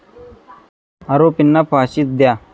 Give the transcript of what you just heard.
आरोपींना फाशीच द्या!